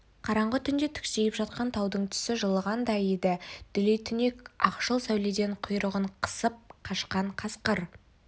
қараңғы түнде түксиіп жатқан таудың түсі жылығандай еді дүлей түнек ақшыл сәуледен құйрығын қысып қашқан қасқыр